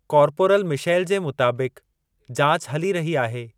Corporal Michelle जे मुताबिक़, जाच हली रही आहे।